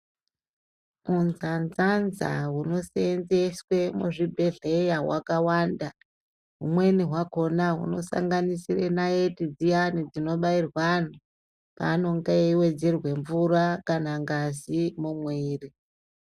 Hunzanzanza hunoseenzweswe muzvibhedhleya hwakawanda humweni hwakona hunosanganisira naiti dziyani dzinobairwa antu paanenge eiwedzerwa mvura kana ngazi mumwiri.